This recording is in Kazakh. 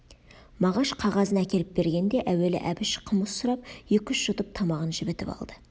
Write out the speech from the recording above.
мағаш қағазын әкеліп бергенде әуелі әбіш қымыз сұрап екі-үш жұтып тамағын жібітіп алды